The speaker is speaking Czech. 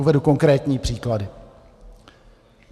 Uvedu konkrétní příklady.